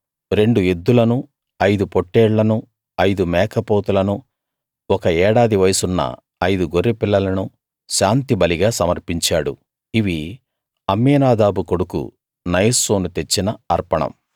రెండు ఎద్దులను ఐదు పొట్టేళ్లనూ ఐదు మేకపోతులను ఒక ఏడాది వయసున్న ఐదు గొర్రె పిల్లలను శాంతిబలిగా సమర్పించాడు ఇవి అమ్మీనాదాబు కొడుకు నయస్సోను తెచ్చిన అర్పణం